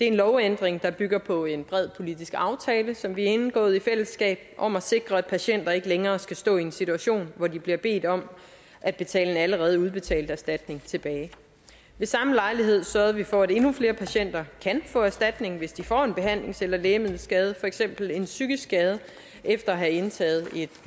en lovændring der bygger på en bred politisk aftale som vi har indgået i fællesskab om at sikre at patienter ikke længere skal stå i en situation hvor de bliver bedt om at betale en allerede udbetalt erstatning tilbage ved samme lejlighed sørgede vi for at endnu flere patienter kan få erstatning hvis de får en behandlings eller lægemiddelskade for eksempel en psykisk skade efter at have indtaget et